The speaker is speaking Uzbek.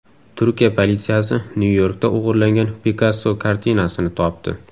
Turkiya politsiyasi Nyu-Yorkda o‘g‘irlangan Pikasso kartinasini topdi.